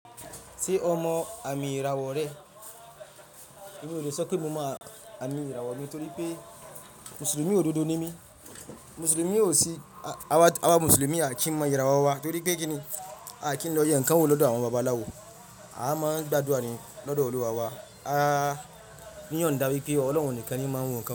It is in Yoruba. Ṣé ọ mọ amì íràwọ̀ rẹ́? Mi ò le sọ pé mò mọ àmì ìràwọ̀ mi torí pé Mùsùlùmí ò dodo ni mí. Mùsùlùmí ò sí, àwa Mùsùlùmí á kì í mọ ìràwọ̀ wa torí pé kíni? A á kì í lọ yẹn nkan wo lọ́dọ̀ àwọn babaláwo. A á máa ń gbàdúrà ní lọ́dọ̀ Olúwa wa. A á níyàn da wipé ọ̀lohun nìkan ni máa ń mú káún.